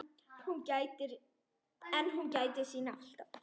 En hún gætir sín alltaf.